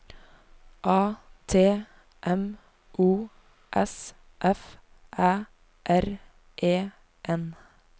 A T M O S F Æ R E N